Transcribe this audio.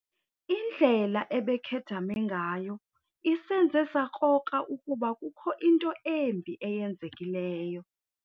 Indlela ebekhedame ngayo isenze sakrokra ukuba kukho into embi eyenzekileyo.